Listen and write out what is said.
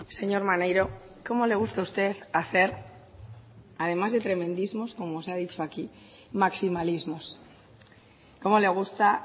señor maneiro cómo le gusta a usted hacer además de tremendismos como se ha dicho aquí maximalismos cómo le gusta